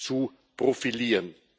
zu profilieren.